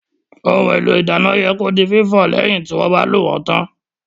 Ohun èlò ìdáná yẹ kí ó di fífọ̀ lẹ́yìn tí wọ́n bá lò wón tán